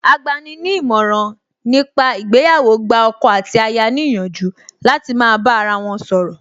Agbani ní ìmọ̀ràn ní pa ìgbéyàwó gba ọkọ àti aya ní ìyànjú láti máa bá ara wọn sọ̀rọ̀